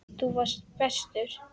Þú varst bestur.